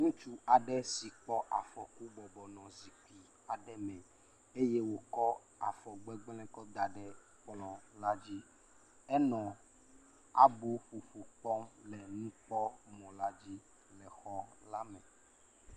Ŋutsu aɖe si kpɔ afɔku bɔbɔnɔ zikpui aɖe me eye wòkɔ afɔ gbegblẽ la da ɖe kplɔ la dzi. Enɔ abɔƒoƒo kpɔm le nukpɔmɔla dzi le xɔ la me.